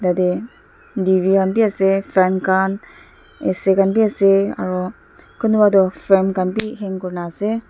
tate D_V khan bhi ase frame khan A_C khan bhi ase aro kunba toh frame khan bhi hang kuri na ase.